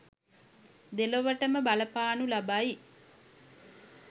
දෙලොවටම බලපානු ලබයි.